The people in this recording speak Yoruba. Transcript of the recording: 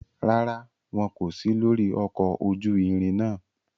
Ràrá, wọn ko si lori ọkọ ojú ìrin náà